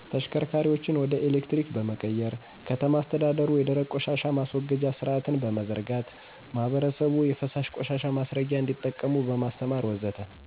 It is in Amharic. ተሽከርካሪዎችን ወደ ኤሌክትሪክ በመቀየር፣ ከተማ አስተዳደሩ የደረቅ ቆሻሻ ማስወገጃ ስርአት በመዘርጋት፣ ማህበረሰቡ የፈሳሽ ቆሻሻ ማስረጊያ እንዲጠቀሙ በማስተማር ወዘተ...